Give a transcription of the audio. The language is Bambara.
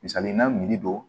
Misali n'a miiri don